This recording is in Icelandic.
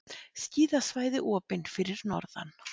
Skíðasvæði opin fyrir norðan